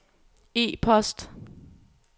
e-post